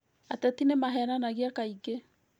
Ateti nĩ mahenanagia kaingĩ